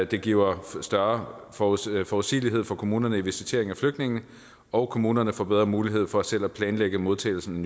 det giver større forudsigelighed forudsigelighed for kommunerne i visiteringen af flygtningene og kommunerne får bedre mulighed for selv at planlægge modtagelsen